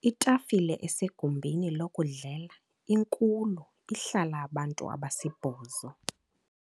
Itafile esegumbini lokudlela inkulu ihlala abantu abasibhozo.